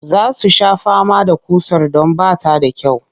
Za su sha fama da ƙusar don ba ta da kyau